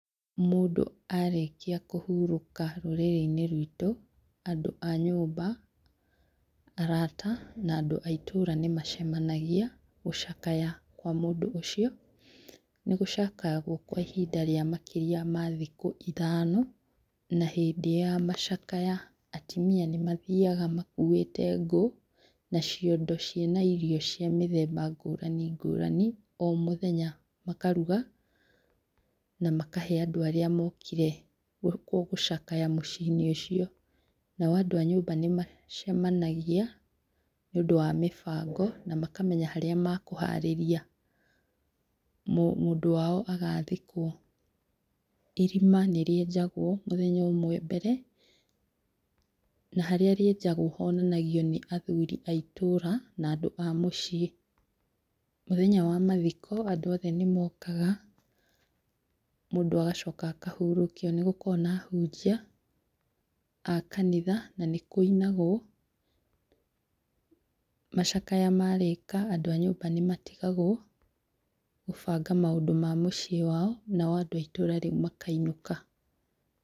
Mũndũ arĩkia kũhurũka rũrĩrĩ-inĩ rwitũ andũ a nyũmba, arata na andũ a itũũra nĩ macemanagia gũcakaya kwa mũndũ ũcio, nĩ gũcakayagwo kwa ihinda rĩa makĩria ma thikũ ithano na hĩndĩ ya macakaya atumia nĩ mathiaga makũĩte ngũ na ciondo ciĩ na irio cia mĩthemba ngũrani ngũrani o mũthenya, makaruga na makahe andũ arĩa mokire gũcakaya mũciĩ-inĩ ũcio, nao andũ a nyũmba nĩ macemanagia nĩ ũndũ wa mĩbango na makamenya harĩa ma kũharĩria mũndũ wao agathikwo, irima nĩ rĩenjagwo mũthenya ũmwe mbere, na harĩa rĩenjagwo honanagio nĩ athuri a itũũra na andũ a mũciĩ, mũthenya wa mathiko andũ othe nĩmokaga, mũndũ agacoka akahurũkio, nĩ gũkoragwo na ahunjia a kanitha na nĩkũinagwo, macakaya marĩka andũ a nyũmba nĩmatigagwo kũbanga maũndũ ma mũciĩ wao, na o andũ aitũra rĩu makainũka.